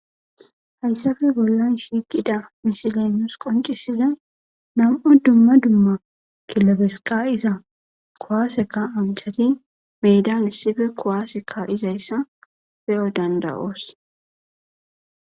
hayssape bollan shiiqida misile nus qoncisiza nam7u dumma dumma kilebes ka7iza kuwaase ka7anchati meedan issipe kuwaase ka7izayssa beyo danda7os